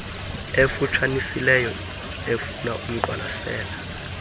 efutshanisileyo efuna umqwalasela